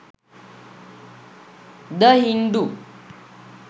the hindu